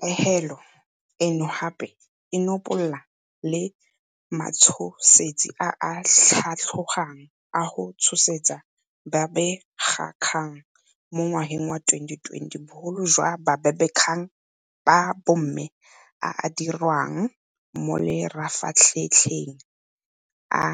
Pegelo eno gape e nopola le matshosetsi a a tlhatlhogang a go tshosetsa babegakgang mo ngwageng wa 2020, bogolo jang babegakgang ba bomme a a diriwang mo mafaratlhatlheng a